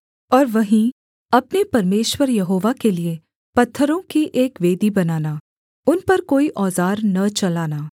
और वहीं अपने परमेश्वर यहोवा के लिये पत्थरों की एक वेदी बनाना उन पर कोई औज़ार न चलाना